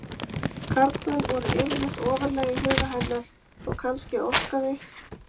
Karlmenn voru yfirleitt ofarlega í huga hennar og kannski óskaði